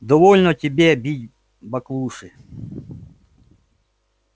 довольно тебе бить баклуши